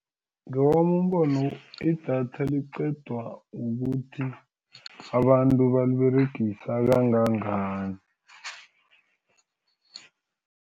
Ngowami umbono idatha liqedwa ukuthi abantu baliberegisa kangangani.